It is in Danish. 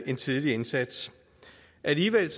en tidlig indsats alligevel er